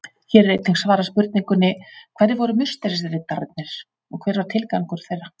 Hér er einnig svarað spurningunni: Hverjir voru musterisriddararnir og hver var tilgangur þeirra?